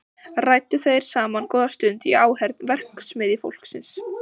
Ræddu þeir saman góða stund í áheyrn verksmiðjufólksins.